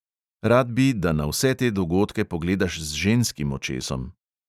Rad bi, da na vse te dogodke pogledaš z ženskim očesom.